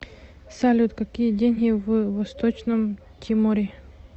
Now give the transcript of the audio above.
салют какие деньги в восточном тиморе